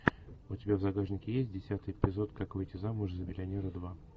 у тебя в загашнике есть десятый эпизод как выйти замуж за миллионера два